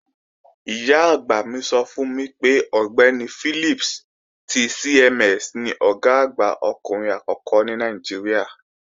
Ìyá-àgbà mi sọ fún mi pé Ọ̀gbẹ́ni Philips ti CMS ni Ọ̀gá àgbà ọkùnrin àkọ́kọ́ ní Nàìjíríà